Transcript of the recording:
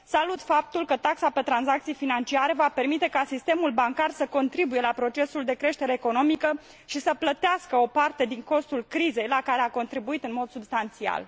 Salut faptul că taxa pe tranzacții financiare va permite ca sistemul bancar să contribuie la procesul de creștere economică și să plătească o parte din costul crizei la care a contribuit în mod substanțial.